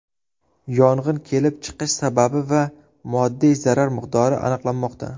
Yong‘in kelib chiqish sababi va moddiy zarar miqdori aniqlanmoqda.